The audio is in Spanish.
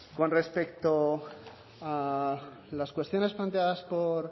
con respecto a las cuestiones planteadas por